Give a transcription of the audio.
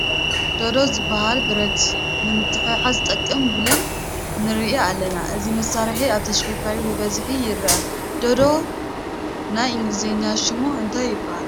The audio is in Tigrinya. ዶዶ ዝበሃል ብረት ንምትሕዛዝ ዝጠቅም ቡለን ንርኢ ኣለና፡፡ እዚ መሳርሒ ኣብ ተሽከርካሪታት ብብዝሒ ይርከብ፡፡ ዳዶ ናይ እንገሊዝኛ ሽሙ እንታይ ይበሃል?